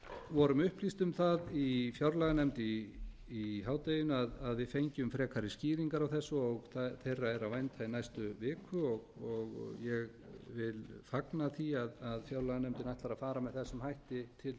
vorum upplýst um það í fjárlaganefnd í hádeginu að við fengjum frekari skýringar á þessu og þeirra er að vænta í næstu viku og ég vil fagna því að fjárlaganefndin ætlar að fara með þessum hætti til þessa